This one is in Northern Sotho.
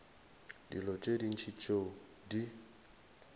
dilo tše ntši tšeo di